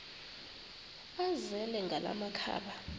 azele ngala makhaba